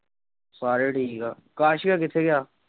ਸਾਰੇ ਠੀਕ ਆ, ਆਕਾਸ ਭਈਆ ਕਿੱਥੇ ਗਿਆ?